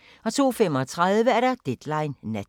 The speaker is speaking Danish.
02:35: Deadline Nat